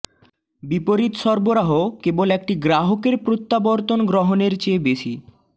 বিপরীত সরবরাহ কেবল একটি গ্রাহকের প্রত্যাবর্তন গ্রহণের চেয়ে বেশি